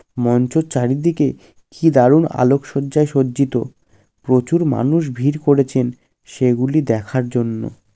মঞ্চের চারিদিকে কি দারুন আলোক শয্যায় সজ্জিত। প্রচুর মানুষ ভিড় করেছেন সেগুলি দেখার জন্য।